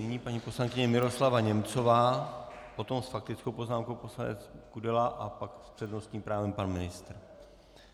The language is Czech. Nyní paní poslankyně Miroslava Němcová, potom s faktickou poznámkou poslanec Kudela a pak s přednostním právem pan ministr.